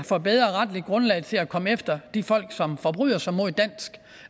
får et bedre retligt grundlag til at komme efter de folk som forbryder sig mod dansk